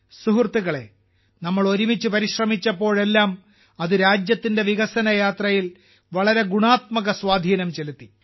സുഹൃത്തുക്കളേ നാം ഒരുമിച്ച് പരിശ്രമിച്ചപ്പോഴെല്ലാം അത് നമ്മുടെ രാജ്യത്തിന്റെ വികസന യാത്രയിൽ വളരെ ഗുണാത്മക സ്വാധീനം ചെലുത്തി